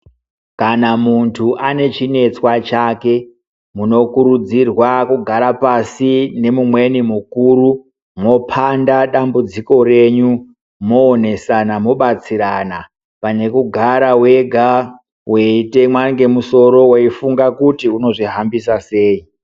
Kana muntu ane chinetswa chake muno kurudzirwa kugara pasi nemumweni mukuru mwopanda dambudziko renyu mwoonesana mwobatsirana pane kugara wega weitemwa ngemusoro weifunga kuti uno zvihambisa sei.